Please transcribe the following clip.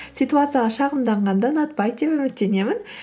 ситуацияға шағымданғанды ұнатпайды деп үміттемін